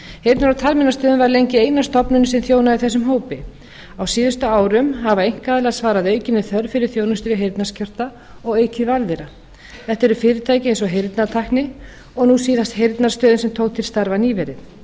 heyrnar og talmeinastöðin var lengi eina stofnunin sem þjónaði þessum hópi á síðustu árum hafa einkaaðilar svarað aukinni þörf fyrir þjónustu við heyrnarskerta og aukið val þeirra en fyrir fyrirtæki eins og heyrnartækni og nú síðast heyrnarstöðin sem tók til starfa nýverið